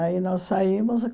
Aí nós saímos.